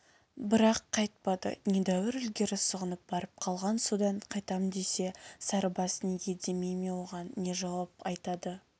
бірақ қайтпады недәуір ілгері сұғынып барып қалған содан қайтам десе сарыбас неге демей ме оған не жауап айтады